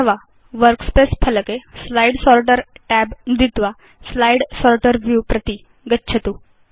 अथवा वर्कस्पेस फलके slide sorter tab नुदित्वा स्लाइड् सोर्टर् व्यू प्रति गच्छतु